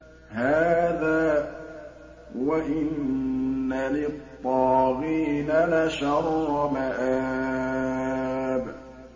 هَٰذَا ۚ وَإِنَّ لِلطَّاغِينَ لَشَرَّ مَآبٍ